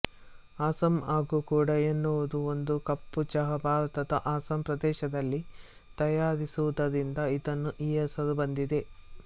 ಅಸ್ಸಾಂ ಹಾಗೂ ಕೂಡಾ ಎನ್ನುವುದು ಒಂದು ಕಪ್ಪು ಚಹಾ ಭಾರತದ ಅಸ್ಸಾಂ ಪ್ರದೇಶದಲ್ಲಿ ತಯಾರಿಸಿರುವುದರಿಂದ ಇದಕ್ಕೆ ಈ ಹೆಸರು ಬಂದಿದೆ